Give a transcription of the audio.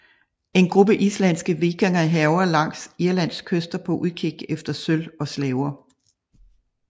En gruppe islandske vikinger hærger langs Irlands kyster på udkig efter sølv og slaver